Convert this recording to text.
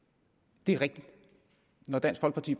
det er rigtigt at når dansk folkeparti